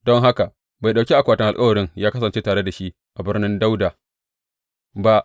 Don haka bai ɗauki akwatin alkawarin ya kasance tare da shi a Birnin Dawuda ba.